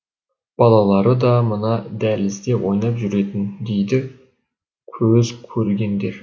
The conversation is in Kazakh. балалары да мына дәлізде ойнап жүретін дейді көзкөргендер